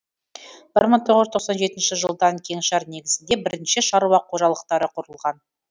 бір мың тоғыз жүз тоқсан жетінші жылдан кеңшар негізінде бірнеше шаруа қожалықтары құрылған